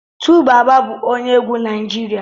2baba bu onye egwu Naijiria